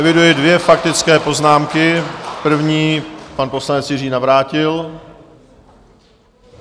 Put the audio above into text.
Eviduji dvě faktické poznámky - první, pan poslanec Jiří Navrátil.